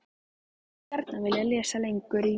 HANN HEFÐI GJARNAN VILJAÐ LESA LENGUR Í